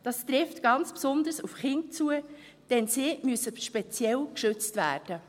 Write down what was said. Das trifft ganz besonders auf Kinder zu, denn sie müssen speziell geschützt werden.